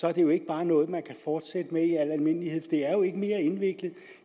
er det jo ikke bare noget man kan fortsætte med i al almindelighed for det er jo ikke mere indviklet